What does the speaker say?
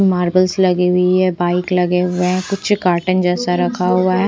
Marbles लगी हुई है बाइक्स लगी हुई हैं कुछ कार्टन जैसा रख हुआ है।